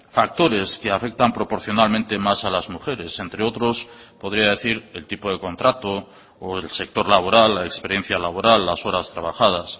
factores que afectan proporcionalmente más a las mujeres entre otros podría decir el tipo de contrato o el sector laboral la experiencia laboral las horas trabajadas